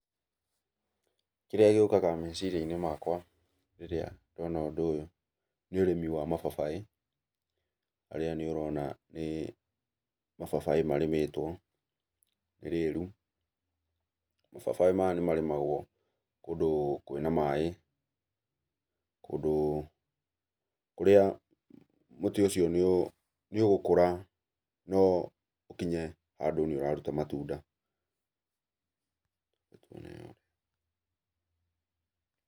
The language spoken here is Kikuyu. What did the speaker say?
Kĩrĩa gĩũkaga meciria-inĩ makwa, rĩrĩa ndona ũndũ ũyũ, nĩ ũrĩmi wa mababaĩ, harĩa nĩũrona nĩ mababaĩ marĩmĩtwo, nĩ rĩru. Mababaĩ maya nĩmarĩmagwo kũndũ kwĩna maĩ, kũndũ kũrĩa mũtĩ ũcio nĩ ũgũkũra na ũkinye handũ nĩũraruta matunda.